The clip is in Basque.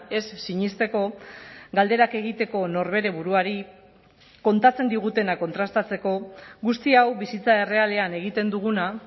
ez sinesteko galderak egiteko norbere buruari kontatzen digutena kontrastatzeko guzti hau bizitza errealean egiten duguna